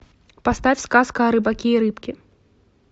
поставь сказка о рыбаке и рыбке